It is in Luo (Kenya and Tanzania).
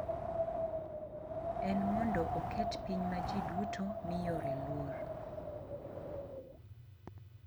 En mondo oket piny ma ji duto miyore luor.